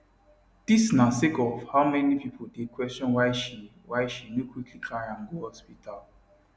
dis na sake of how many pipo dey question why she why she no quickly carry am go hospital